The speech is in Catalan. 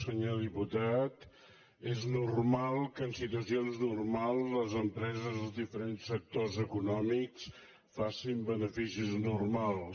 senyor diputat és normal que en situacions normals les empreses dels diferents sectors econòmics facin beneficis normals